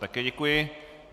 Také děkuji.